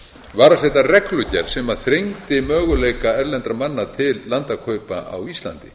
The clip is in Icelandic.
var að setja reglugerð sem þrengdi möguleika erlendra manna til landakaupa á íslandi